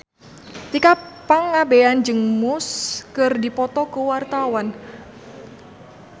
Tika Pangabean jeung Muse keur dipoto ku wartawan